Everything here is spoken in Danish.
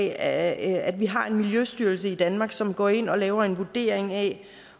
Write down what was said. at at vi har en miljøstyrelse i danmark som går ind og laver en vurdering af